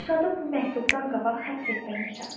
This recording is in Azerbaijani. Dirşadın bu məktubdan qabaq həbs etdirmişəm.